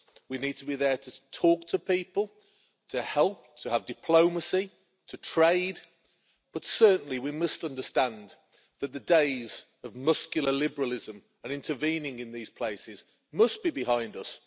We need to be there to talk to people, to help, to have diplomacy and to trade, but certainly, we must understand that the days of muscular liberalism and intervening in these places must be behind us.